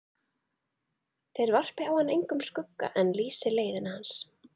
Þeir varpi á hann engum skugga en lýsi leiðina til hans.